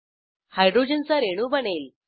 hydrogen चा रेणू बनेल